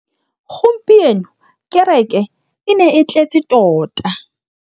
Gompieno kêrêkê e ne e tletse tota.